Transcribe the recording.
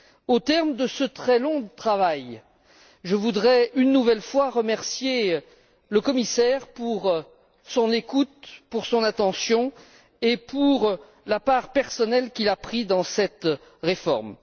Au terme de ce très long travail, je voudrais, une nouvelle fois, remercier le commissaire pour son écoute, pour son attention et pour la part personnelle qu'il a prise dans cette réforme.